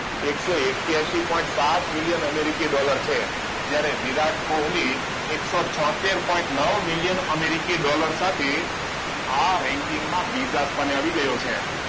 એકસો એક્યાસી પોઇન્ટ સાત million Americi dollar છે જયારે વિરાટ કોહલી એકસો છયોતેર પોઇન્ટ નવ million americi dollar સાથે આ ranking માં બીજા સ્થાને આવી ગયો છે છે